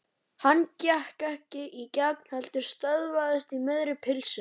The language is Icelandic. Hann gekk ekki í gegn heldur stöðvaðist í miðri pylsu.